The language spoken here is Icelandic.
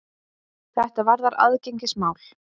Þetta varðar aðgengismál.